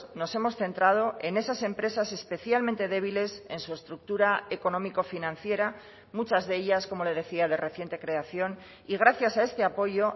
nos hemos centrado en esas empresas especialmente débiles en su estructura económico financiera muchas de ellas como le decía de reciente creación y gracias a este apoyo